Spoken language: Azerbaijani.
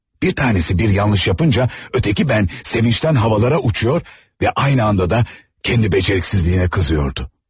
Bir tanəsi bir yanlış yapınca, öteki mən sevinçdən havalara uçur və eyni zamanda da kəndi bacarıqsızlığına qızır.